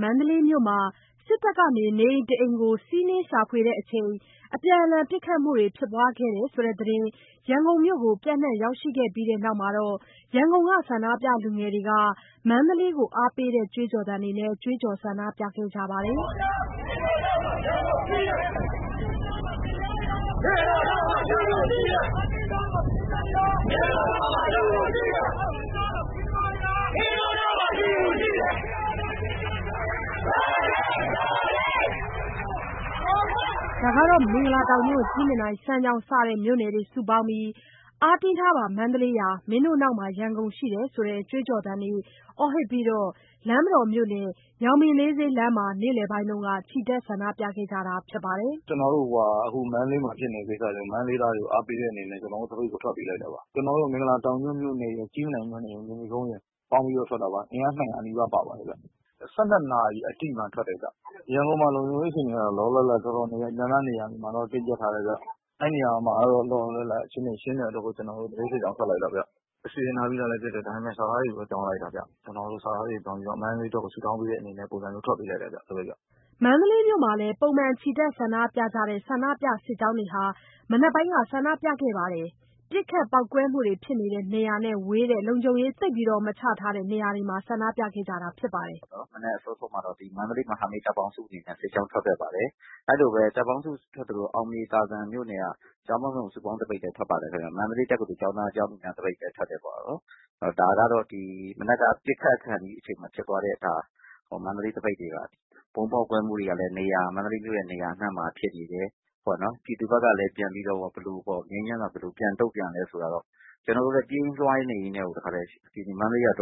မန္တလေးမြို့မှာ စစ်တပ်က အိမ်တအိမ်ကို စီးနင်းရှာဖွေစဉ် ဒီနေ့ မနက်ပိုင်းက အပြန်အလှန် ပစ်ခတ်မှုတွေ ဖြစ်ပွားတဲ့သတင်း ရန်ကုန်မြို့ကို ပျံ့နှံ့ရောက်ရှိခဲ့ပြီးနောက် ရန်ကုန်က ဆန္ဒပြလူငယ်တွေက မန္တလေးကို အားပေးတဲ့ ကြွေးကြော်သံတွေ ကြွေးကြော် ဆန္ဒပြခဲ့ကြပါတယ်။ မင်္ဂလာတောင်ညွန့်၊ ကြည့်မြင်တိုင်၊ စမ်းချောင်း စတဲ့မြို့နယ်တွေ စုပေါင်းပြီး ‘အားတင်းထားပါ မန္တလေးရာ မင်းတို့နောက်မှာ ရန်ကုန်ရှိတယ်’ ဆိုတဲ့ ကြွေးကြော်သံတွေ အော်ဟစ်ပြီး ချ လမ်းမတော်မြို့နယ်၊ ညောင်ပင်လေး ဈေးလမ်းမှာ နေ့လည်ပိုင်းက ချီတက် ဆန္ဒပြခဲ့ကြပါတယ်။ "ကျ နော်တို့ ခု မန္တလေးမှာ ဖြစ်နေတဲ့ ကိစ္စအတွက် မန္တလေးသားတွေကို အားပေးတဲ့ အနေနဲ့ ကျွန်တော်တို့ စုပေါင်းသပိတ်ကို ထွက်ပေးလိုက်တာပါ။ ကျွန်တော်တို့ မဂ်လာတောင်ညွန့်မြို့နယ်ရယ်၊ ကြည့်မြင်တိုင်ရယ်၊ မြေနီကုန်းရယ် ပေါင်းပြီးတော့ ထွက်တာပါ။ အင်အား ၂၀၀ နီးပါးပါပါတယ်ဗျ။ ၁၂ နာရီ အတိမှာ ထွက်တယ်ဗျ။ ရန်ကုန်မှာ လုံခြုံရေး အခြေအနေကတော့ နေရာတော်တော်များများ မှာ တင်းကြပ်ထားတယ်ဗျ။ အဲ့နေရာမှာကတော့ လောလောလတ်လတ်အခြေအနေ ရှင်းနေလို့ သပိတ်စစ်ကြောင်းထွက်လိုက်တာဗျ။ အစကတည်းက စီစဉ်ထားပြီးသားလည်း ဖြစ်တယ်၊ စာသားတွေကိုတော့ ပြောင်းလိုက်တယ်ဗျ။ ကျွန်တော်တို့ စာသားတွေ ပြောင်းပြီးတော့ မန္တလေးအတွက် ဆုတောင်းပေးတဲ့ အနေနဲ့ ထွက်လိုက်ကြတာဗျ။” မန္တလေးမြို့မှာလည်း ပုံမှန်ချီတက်ဆန္ဒပြကြတဲ့ ဆန္ဒပြစစ်ကြောင်းတွေကလည်း မနက်ပိုင်းက ဆန္ဒပြခဲ့ကြပါတယ်။ ပစ်ခတ် ပေါက်ကွဲမှုတွေ ဖြစ်တဲ့ နေရာနဲ့ ဝေးတဲ့ လုံခြုံရေး သိပ်မရှိတဲ့နေရာတွေမှာ ဆန္ဒပြခဲ့ကြတာဖြစ်ပါတယ်။ “မနက် အစောဆုံးမှာတော့ မန္တလေး မဟာမိတ်တပ်ပေါင်းစု အနေနဲ့ သပိတ်ကြောင်းထွက်ခဲ့ပါတယ်။ အဲ့လိုပဲ တပ်ပေါင်းစုထွက်သလို အောင်မြေသာဇံမြို့နယ်က ကျောင်းပေါင်းစုံ စုပေါင်းသပိတ်လည်း ထွက်တယ်ခင်ဗျ၊ မန္တလေး တက္ကသိုလ် ကျောင်းသားကျောင်းသူများ သပိတ်လည်း ထွက်ပါတယ်ခင်ဗျ။ ဒါက ပစ်ခတ်ခါနီး အချိန်မှာ ဖြစ်သွားတဲ့ မန္တလေး သပိတ်တွေပါ။ ဗုံးပေါက်ကွဲမှုတွေကလည်း မန္တလေးရဲ့ နေရာ အနှံ့မှာဖြစ်နေတယ်။ ပြည်သူဖက်ကလည်း ငြိမ်းချမ်းစွာ ဘယ်လိုတုန့်ပြန်လဲဆိုတောတော့ ကျွန်တော်တို့လဲ ပြေးရင်းလွားရင်းနဲ့ပဲ တော်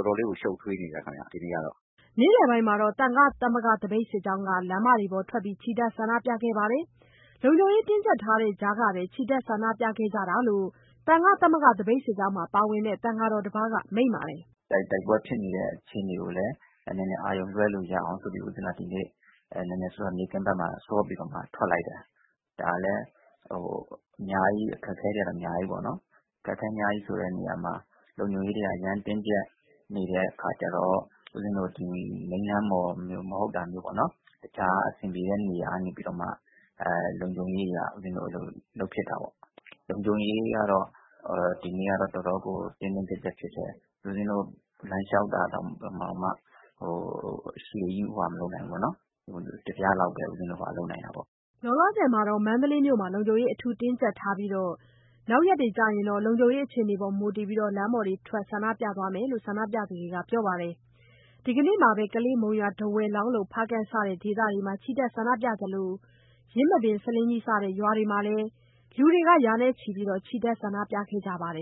တော်လေးကို ရှုပ်ထွေးနေတယ်ဗျ အခြေအနေကတော့။” နေ့လည်ပိုင်းမှာတော့ သံဃာ့သမဂ္ဂသပိတ်စစ်ကြောင်းက လမ်းမပေါ်ထွက်ပြီး ချီတက် ဆန္ဒပြခဲ့ကြပါတယ်။ လုံခြုံရေးတင်းကြပ်ထားတဲ့ကြားက ချီတက် ဆန္ဒပြခဲ့ကြတာဖြစ်တယ်လို့ သံဃာ့ သမဂ္ဂသပိတ်စစ်ကြောင်းမှာ ပါဝင်တဲ့ သံဃာတော်တစ်ပါး က မိန့်ပါတယ်။ “တိုက်ပွဲဖြစ်နေတဲ့ အခြေအနေကိုလည်း အာရုံလွဲလို့ရအောင်ဆိုပြီး ဒီနေ့ နေ့ခင်းဖက်မှာ စောပြီးတော့မှ ထွက်လိုက်တယ်။ ဒါကလည်း အခက်အခဲတွေကတော့ အများကြီးပေါ့နှော်။ အခက်အခဲဆိုတဲ့ နေရာမှာ လုံခြုံရေးတွေက အရမ်းတင်းကြပ် နေတဲ့ခါကျတော့ ဦးဇင်းတို့က မိန်းလမ်းမတွေမဟုတ်တာမျိုးပေါ့၊ တခြားအဆင်ပြေတဲ့ နေရာကနေပြီးတော့မှ လုံခြုံရေးအရ ဦးဇင်းတို့လုပ်ဖြစ်တာပေါ့။ လုံခြုံရေးကတော့ ဒီနေ့ကတော့ လုံးဝကို တင်းတင်းကြပ်ကြပ်ဖြစ်တယ်။ ဦးဇင်းတို့ လမ်းလျှောက်တာတောင်မှ အရှည်ကြီးမသွားနိုင်ဘူး။ တစ်ပြလောက်ပဲ ဦးဇင်းတို့ သွားနိုင်တာပေါ့။” လောလောဆယ် မန္တလေးမြို့မှာ လုံခြုံရေးအထူးတင်းကြပ်ထားတဲ့အတွက် နောက်နေ့တွေကျရင်တော့ လုံခြုံရေးအခြေအနေပေါ်မူတည် လမ်းပေါ်ထွက် ဆန္ဒပြသွားမယ်လို့ ဆန္ဒပြသူတွေကပြောပါတယ်။ ဒီကနေ့မှာပဲ ကလေး၊ မုံရွာ၊ ထားဝယ်၊ လောင်းလုံ၊ ဖားကန့် စတဲ့ဒေသတွေမှာ ချီတက်ဆန္ဒပြကြသလို ယင်းမာပင်၊ ဆားလင်းကြီးဒေသတွေမှာလည်း လူရာချီ ချီတက်ဆန္ဒပြကြခဲ့ပါတယ်